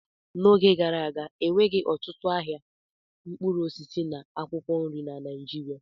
N'oge gara aga, enweghị ọtụtụ ahịa mkpụrụ osisi na akwụkwọ nri na Naịjirịa.